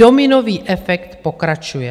Dominový efekt pokračuje.